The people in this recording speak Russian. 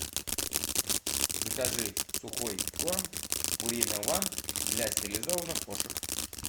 закажи сухой корм пурина ван для стерилизованных кошек